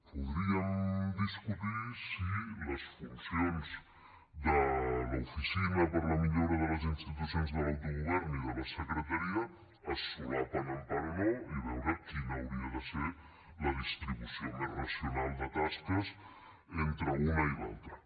podríem discutir si les funcions de l’oficina per a la millora de les institucions de l’autogovern i de la secretaria es solapen en part o no i veure quina hauria de ser la distribució més racional de tasques entre una i altra